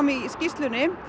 í skýrslunni